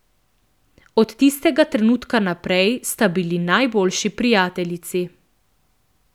Od tistega trenutka naprej sta bili najboljši prijateljici.